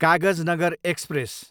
Kagaznagar express